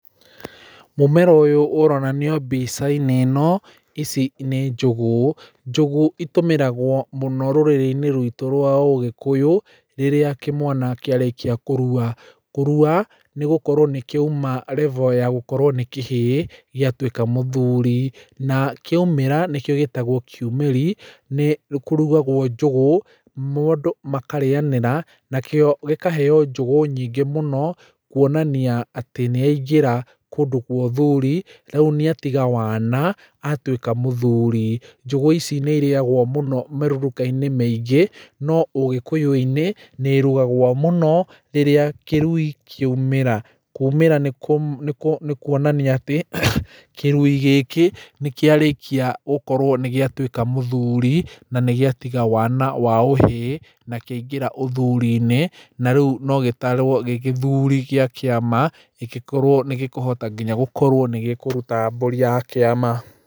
Mũmera ũyũ ũronanio mbica-inĩ ĩno ici nĩ njũgũ, njũgũ itũmĩragwo mũno rũrĩrĩ-inĩ rwitũ rwa ũgĩkũyũ rĩrĩa kĩmwana kĩarĩkia kũrua. Kũrua nĩ gũkorwo nĩkĩauma level ya gũkorwo nĩ kĩhĩĩ gĩatũĩka mũthuri na kĩaumĩra nĩkĩo gĩtagwo kiumĩri nĩkũrugagwo njũgũ mũndũ makarĩyanĩra nakĩo gĩkaheo njũgũ nyingĩ mũno kũonania atĩ nĩ aingĩra kũndũ gwa ũthuri rĩu nĩatiga wana atũĩka mũthuri njũgũ ici nĩ irĩyagwo mũno mĩruruka-inĩ mĩĩngĩ no ũgĩkũyũ-inĩ nĩ ĩrugagwo mũno rĩrĩa kĩrui kĩaumĩra , kũmĩra nĩ kũonania atĩ kĩrui gĩkĩ nĩkĩarĩkia gũkorwo nĩgĩatũĩka mũthuri na nĩgĩatiga wana wa ũhĩĩ na kĩaingĩra ũthuri-inĩ na rĩu no gĩtarwo gĩ gĩthuri gĩa kĩama kĩngĩkorwo nĩgĩkũhota nginya gũkorwo nĩgĩkũruta mbũri ya kĩama.